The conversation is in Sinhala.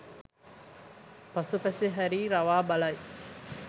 පසුපස හැරී රවා බලයි.